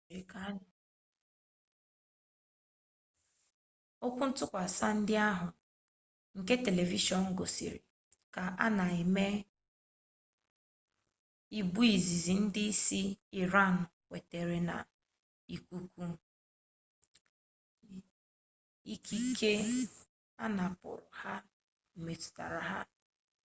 okwuntukwasa ndi ahu nke telivishon gosiri ka o na eme bu izizi ndi isi iran kwetere na ikike anapuru ha metutara ha